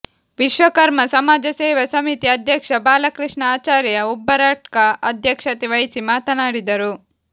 ವಿಶ್ವಕರ್ಮ ಸಮಾಜ ಸೇವಾ ಸಮಿತಿ ಅಧ್ಯಕ್ಷ ಬಾಲಕೃಷ್ಣ ಆಚಾರ್ಯ ಉಬರಡ್ಕ ಅಧ್ಯಕ್ಷತೆ ವಹಿಸಿ ಮಾತನಾಡಿದರು